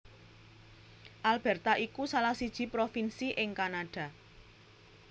Alberta iku salah siji provinsi ing Kanada